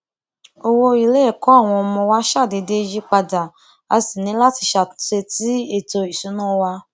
owó iléẹkọ àwọn ọmọ wa ṣàdédé yí padà a sì ní láti ṣàtútò sí ètò ìṣúná wa